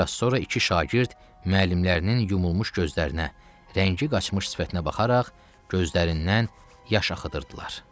Bir az sonra iki şagird müəllimlərinin yumulmuş gözlərinə, rəngi qaçmış sifətinə baxaraq gözlərindən yaş axıdırdılar.